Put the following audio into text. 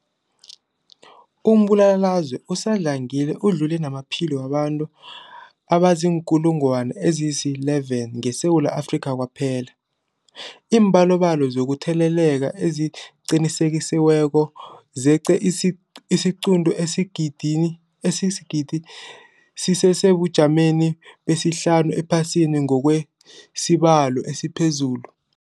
Umbulalazwe usadlangile udlule namaphilo wabantu abaziinkulungwana ezi-11 ngeSewula Afrika kwaphela. Iimbalobalo zokutheleleka eziqinisekisiweko zeqe isiquntu sesigidi, sisesebujameni besihlanu ephasini ngokwesibalo esiphezulu.